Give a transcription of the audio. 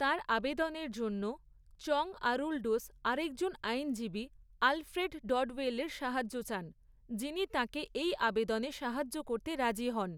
তাঁর আবেদনের জন্য চং আরুলডোস আরেকজন আইনজীবী আলফ্রেড ডডওয়েলের সাহায্য চান, যিনি তাঁকে এই আবেদনে সাহায্য করতে রাজি হন।